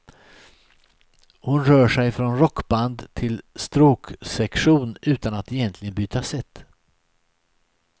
Hon rör sig från rockband till stråksektion utan att egentligen byta sätt.